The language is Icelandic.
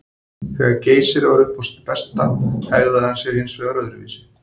Þegar Geysir var upp á sitt besta hegðaði hann sér hins vegar öðruvísi.